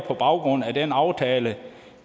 på baggrund af den aftale